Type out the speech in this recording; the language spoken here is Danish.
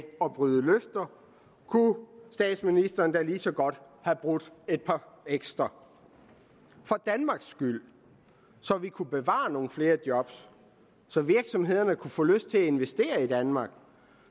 at bryde løfter kunne statsministeren da lige så godt have brudt et par ekstra for danmarks skyld så vi kunne bevare nogle flere job så virksomhederne kunne få lyst til at investere i danmark og